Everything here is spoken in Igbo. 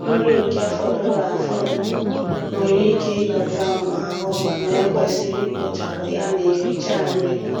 Nri nke fọdụrụ afọdụ nwere ike ịdọta ụmụ ahụhụ ma e kwesịrị ikpochapụ ya ma erichaa nri.